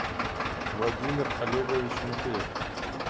владимир олегович михеев